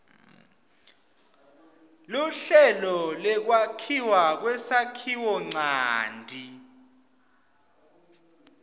luhlelo lwekwakhiwa kwesakhiwonchanti